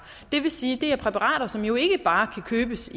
det vil sige at det er præparater som jo ikke bare kan købes